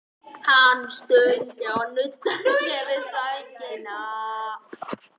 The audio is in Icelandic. Hann stundi og nuddaði sér við sængina.